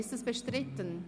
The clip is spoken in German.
Ist das bestritten?